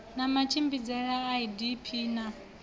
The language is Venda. na matshimbidzele a idp na